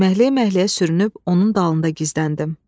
Yeməkləyə-yeməkləyə sürünüb onun dalında gizləndim.